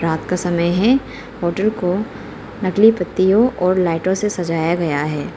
रात का समय है होटल को नकली पत्तियों और लाइटों से सजाया गया है।